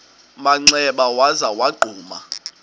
manxeba waza wagquma